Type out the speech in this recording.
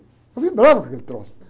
Eu vibrava com aquele troço.